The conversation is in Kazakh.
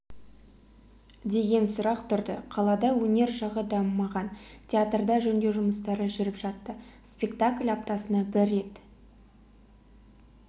деген сұрақ тұрды қалада өнер жағы дамымаған театрда жөндеу жұмыстары жүріп жатты спектакль аптасына бір рет